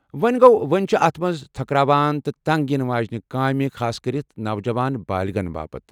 وۄنہِ گوٚو، وۄنۍ چھِ اتھ منز تھكراون تہٕ تنگ یِنہٕ واجیٚنہِ کامہِ، خاصكرِتھ نوجوان بالغنن باپت۔